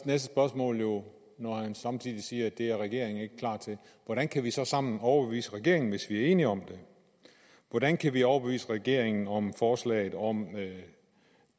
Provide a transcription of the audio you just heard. næste spørgsmål jo når han samtidig siger at det er regeringen ikke klar til hvordan kan vi så sammen overbevise regeringen hvis vi er enige om det hvordan kan vi overbevise regeringen om forslaget om en